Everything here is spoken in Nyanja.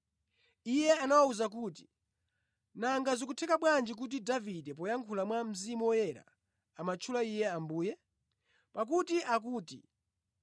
Iye anawawuza kuti, “Nanga zikutheka bwanji kuti Davide poyankhula mwa Mzimu Woyera amatchula Iye ‘Ambuye?’ Pakuti akuti,